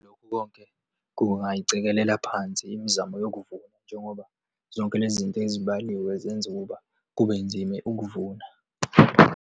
Lokhu konke kungayicikelela phansi imizamo yokuvuna njengoba zonke lezi zinto ezibaliwe zenze ukuba kube nzime ukuvuna.